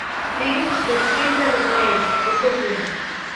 фильм под сильвер лэйк покажи